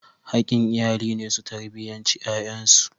Haƙƙin iyali ne su tarbiyanci ƴaƴansu.